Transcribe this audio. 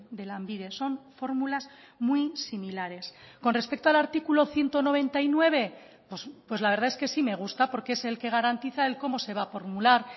de lanbide son fórmulas muy similares con respecto al artículo ciento noventa y nueve pues la verdad es que sí me gusta porque es el que garantiza el cómo se va a formular